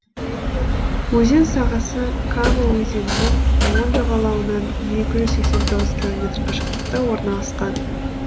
өзен сағасы кама өзенінің оң жағалауынан екі жүз сексен тоғыз километр қашықтықта орналасқан